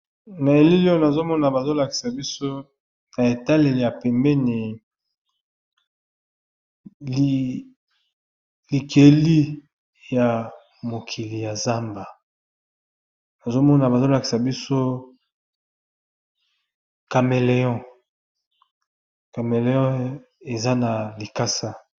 Na elili oyo nazo mona bazo lakisa biso na etaleli ya pembeni likeli ya mokili ya zamba nazo mona bazo lakisa biso cameleon, cameleo eza na likasa.